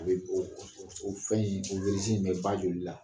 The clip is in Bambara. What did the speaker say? O bɛ o fɛn in o in bɛ ba joli la